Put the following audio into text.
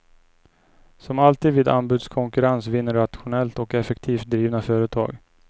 Som alltid vid anbudskonkurrens vinner rationellt och effektivt drivna företag.